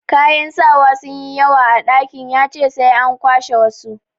Kayan sawa sun yi yawa a dakin, ya ce sai an kwashe wasu.